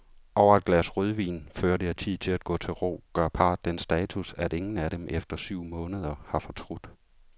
Over et glas rødvin, før det er tid at gå til ro, gør parret den status, at ingen af dem efter syv måneder har fortrudt.